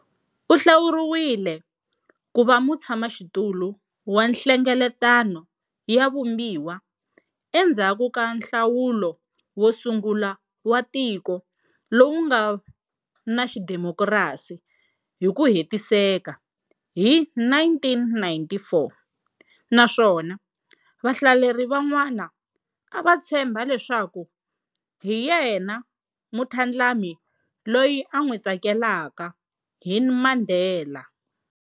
U hlawuriwile ku va mutshamaxitulu wa Nhlengeletano ya Vumbiwa endzhaku ka nhlawulo wo sungula wa tiko lowu nga na xidemokirasi hi ku hetiseka hi 1994 naswona vahlaleri van'wana a va tshemba leswaku hi yena mutlhandlami loyi a n'wi tsakelaka hi Mandela.